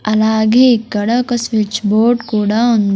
అలాగే ఇక్కడ ఒక స్విచ్ బోర్డ్ కూడా వున్ .